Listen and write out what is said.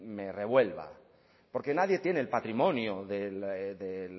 me revuelva porque nadie tiene el patrimonio de